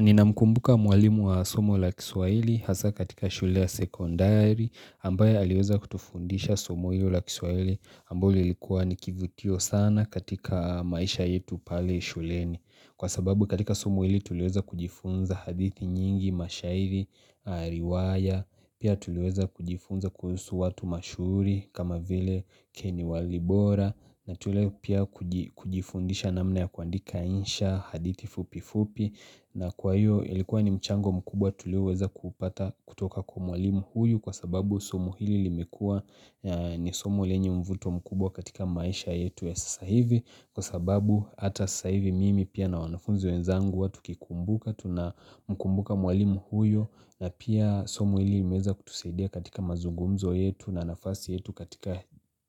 Ninamkumbuka mwalimu wa somo la kiswahili hasa katika shule ya sekondari ambaye aliweza kutufundisha somo hilo la kiswahili ambao ilikua ni kivutio sana katika maisha yetu pale shuleni. Kwa sababu katika somo hili tuliweza kujifunza hadithi nyingi, mashairi, riwaya, pia tuliweza kujifunza kuhusu watu mashuhuri kama vile keni walibora. Na tuli pia kuji kujifundisha namna ya kuandika insha hadithi fupi fupi na kwa hiyo ilikuwa ni mchango mkubwa tulioweza kupata kutoka kwa mwalimu huyu kwa sababu somo hili limekuwa ni somo lenye mvuto mkubwa katika maisha yetu ya sasa hivi kwa sababu hata saa ivi mimi pia na wanafunzi wenzangu huwa tukikumbuka tuna mkumbuka mwalimu huyo na pia somo hili liliweza kutusaidia katika mazungumzo yetu na nafasi yetu katika